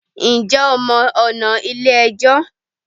Njẹ́ o mọ ọ̀nà Ilé ẹjọ́?